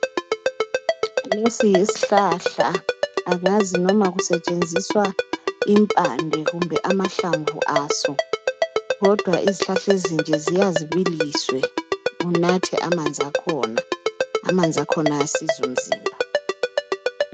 Iesi yisihlahla angazi noma kusetshenziswa impande noma amahlamvu aso kodwa izihlahla ezinje ziya zibiliswe kunathwe amanzi akhona amanzi akhona ayasiza umzimba